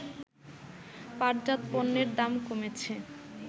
পাটজাত পণ্যের দাম কমেছে